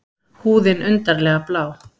Húðin undarlega blá.